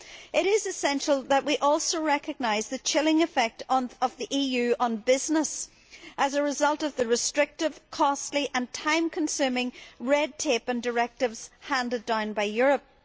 It is essential that we also recognise the chilling effect of the EU on business as a result of the restrictive, costly and time consuming red tape and directives handed down by Europe.